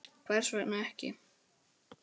Björn: Hvers vegna ekki?